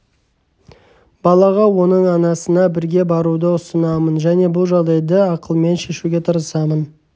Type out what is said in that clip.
балаға оның анасына бірге баруды ұсынамын және бұл жағдайды ақылмен шешуге тырысамын